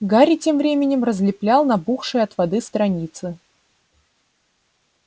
гарри тем временем разлеплял набухшие от воды страницы